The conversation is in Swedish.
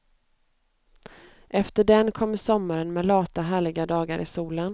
Efter den kommer sommaren med lata, härliga dagar i solen.